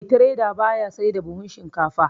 Mai tireda baya sai da buhu shinkafa